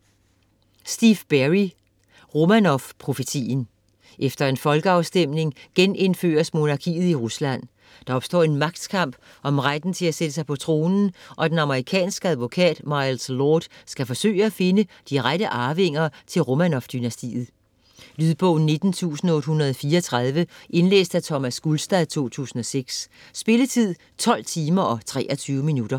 Berry, Steve: Romanovprofetien Efter en folkafstemning genindføres monarkiet i Rusland. Der opstår en magtkamp om retten til at sætte sig på tronen, og den amerikanske advokat Miles Lord skal forsøge at finde de rette arvinger til Romanov-dynastiet. Lydbog 19834 Indlæst af Thomas Gulstad, 2006. Spilletid: 12 timer, 23 minutter.